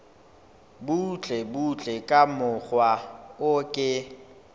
butlebutle ka mokgwa o ke